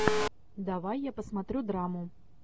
давай я посмотрю драму